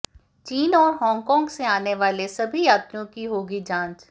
चीन और हांगकांग से आने वाले सभी यात्रियों की होगी जांच